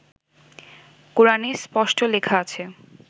কোরানে স্পষ্ট লেখা আছে